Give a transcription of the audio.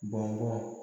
Baga